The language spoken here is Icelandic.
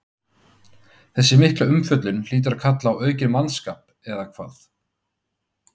Þessi mikla umfjöllun hlýtur að kalla á aukinn mannskap, eða hvað?